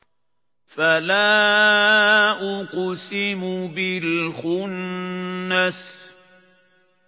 فَلَا أُقْسِمُ بِالْخُنَّسِ